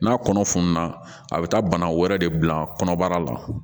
N'a kɔnɔ fununna a bɛ taa bana wɛrɛ de bila kɔnɔbara la